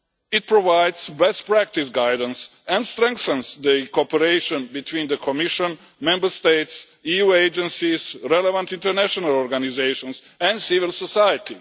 It provides best practice guidance and strengthens the cooperation between the Commission, Member States, EU agencies, relevant international organisations and civil society.